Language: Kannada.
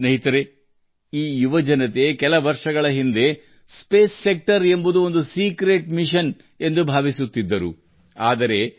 ಸ್ನೇಹಿತರೇ ಕೆಲವು ವರ್ಷಗಳ ಹಿಂದೆ ಯಾರ ಮನಸ್ಸಿನಲ್ಲಿ ಬಾಹ್ಯಾಕಾಶದ ಚಿತ್ರವು ರಹಸ್ಯದಂತೆ ಕಾಡುತ್ತಿತ್ತೋ ಅದೇ ಯುವಕರು ಇವರು